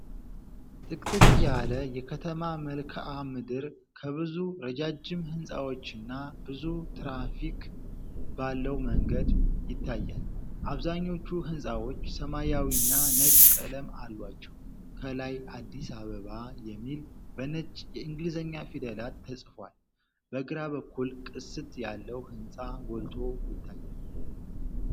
ጥቅጥቅ ያለ የከተማ መልክዓ ምድር ከብዙ ረጃጅም ሕንጻዎችና ብዙ ትራፊክ ባለው መንገድ ይታያል። አብዛኞቹ ሕንጻዎች ሰማያዊና ነጭ ቀለም አሏቸው፣ ከላይ "አዲስ አበባ" የሚል በነጭ የእንግሊዝኛ ፊደላት ተጽፏል። በግራ በኩል ቅስት ያለው ሕንጻ ጎልቶ ይታያል።